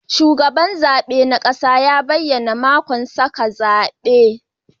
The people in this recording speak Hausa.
Shugaban zabe na kasa ne ya bayyana sakamakon zaben.